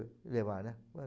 levar, né?